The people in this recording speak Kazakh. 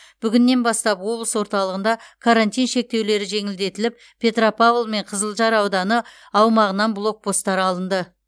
бүгіннен бастап облыс орталығында карантин шектеулері жеңілдетіліп петропавл мен қызылжар ауданы аумағынан блокпостар алынды